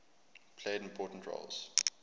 played important roles